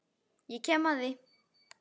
Ég kem að því.